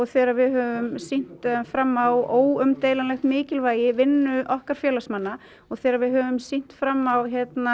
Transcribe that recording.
þegar við höfum sýnt fram á óumdeilanlegt mikilvægi vinnu okkar félagsamanna og þegar við höfum sýnt fram á